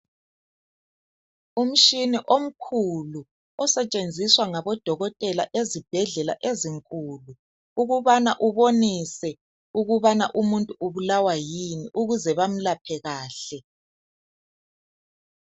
Umshini omkhulu osetshenziswa ngabodokotela ezibhedlela ezinkulu ukubana ubonise ukubana umuntu ubulawa yini ukuze bamlaphe kahle.